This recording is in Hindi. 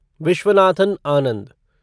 विश्वनाथन आनंद